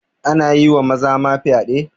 Ana yi wa maza ma fyaɗe